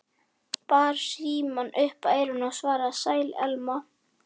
Bar símann upp að eyranu og svaraði- Sæl, Elma.